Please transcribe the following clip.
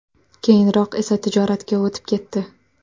Keyinroq esa tijoratga o‘tib ketdi.